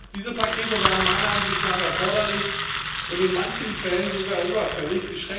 Diese Pakete waren meiner Ansicht nach erforderlich und in manchen Fällen sogar überfällig.